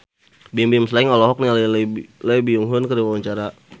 Bimbim Slank olohok ningali Lee Byung Hun keur diwawancara